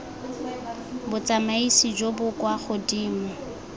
botsamaisi jo bo kwa godimo